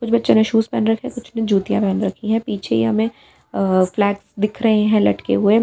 कुछ बच्चों ने शूज पहन रखे हैं कुछ ने जूतियां पहन रखी है पीछे ही हमें फ्लैग दिख रहे हैं लटके हुए।